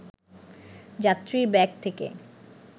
যাত্রীর ব্যাগ থেকে